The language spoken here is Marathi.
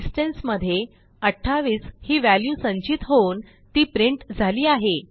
डिस्टन्स मध्ये 28 ही व्हॅल्यू संचित होऊन ती प्रिंट झाली आहे